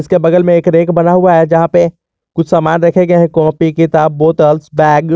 के बगल में एक रैक बना हुआ है जहां पे कुछ सामान रखे गये है कॉपी किताब बोतल्स बैग ।